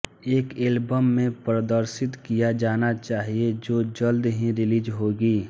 एक एल्बम में प्रदर्शित किया जाना चाहिए जो जल्द ही रिलीज होगी